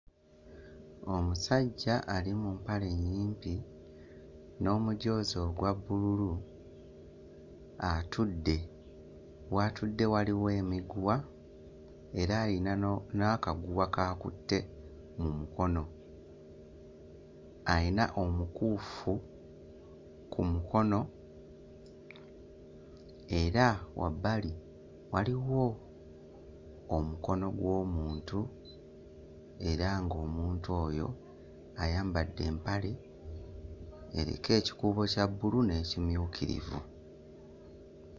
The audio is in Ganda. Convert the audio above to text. Omusajja ali mu mpale nnyimpi n'omujoozi ogwa bbululu atudde, w'atudde waliwo emiguwa era ayina no n'akaguwa k'akutte mu mukono, ayina omukuufu ku mukono era wabbali waliwo omukono gw'omuntu era ng'omuntu oyo ayambadde empale eriko ekikuubo kya bbbulu n'ekimyukirivu.